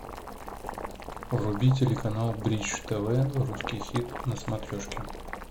вруби телеканал бридж тв русский хит на смотрешке